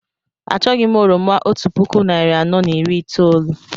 Achọghị m oroma otú puku narị anọ na iri itoolu